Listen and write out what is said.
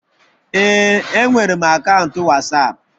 Ee, enwere m akaụntụ Wasapu